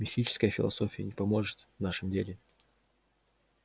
мистическая философия не поможет в нашем деле